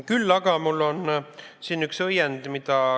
Küll aga on mul siin üks õiend.